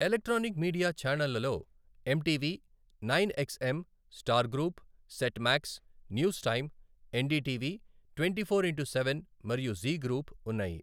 Electronic media ఛానెళ్లలో MTV, nine XM, Star group, Set Max, News Time, NDTV twenty four into seven మరియు Zee group ఉన్నాయి.